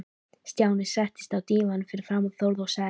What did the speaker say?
Stjáni settist á dívaninn fyrir framan Þórð og sagði